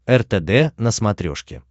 ртд на смотрешке